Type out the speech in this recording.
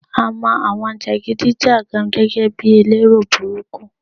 A mo àwọn jagidi jagan gẹ́gẹ́ bi elero burúkú